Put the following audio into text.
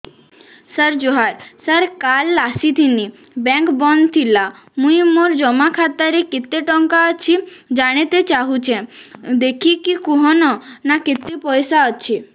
ସାର ଜୁହାର ସାର କାଲ ଆସିଥିନି ବେଙ୍କ ବନ୍ଦ ଥିଲା ମୁଇଁ ମୋର ଜମା ଖାତାରେ କେତେ ଟଙ୍କା ଅଛି ଜାଣତେ ଚାହୁଁଛେ ଦେଖିକି କହୁନ ନା କେତ ପଇସା ଅଛି